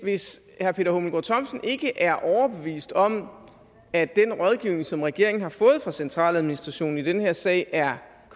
hvis han ikke er overbevist om at den rådgivning som regeringen har fået fra centraladministrationen i den her sag er